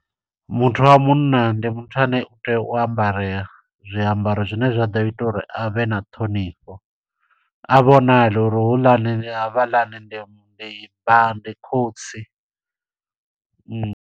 Muthu wa munna, ndi muthu ane u tea u ambarela, zwiambaro zwine zwa ḓo ita uri avhe na ṱhonifho. A vhonale uri houḽani, havhaḽani ndi ndi vha, ndi khotsi .